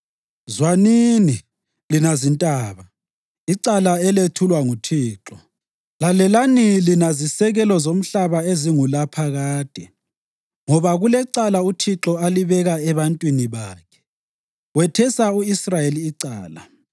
Zwanini, lina zintaba, icala elethulwa nguThixo; lalelani lina zisekelo zomhlaba ezingulaphakade. Ngoba kulecala uThixo alibeka ebantwini bakhe, wethesa u-Israyeli icala.